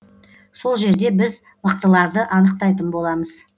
сол жерде біз мықтыларды анықтайтын боламыз